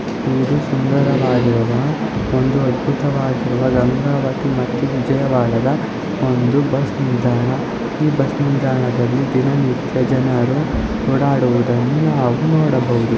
ಇದ ಸುಂದರವಾದ ಒಂದು ಅದ್ಬುತವಾದ ಗಂಗಾವತಿ ಮತ್ತು ವಿಜಯವಾಡದ ಒಂದು ಬಸ್ ನಿಲ್ದಾಣ ಈ ಬಸ್ ನಿಲ್ದಾಣದಲ್ಲಿ ದಿನನಿತ್ಯ ಜನರು ಹೋಡಾಡುವುದನ್ನು ನಾವು ನೋಡಬಹುದು.